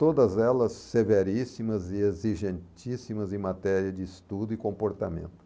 Todas elas severíssimas e exigentíssimas em matéria de estudo e comportamento.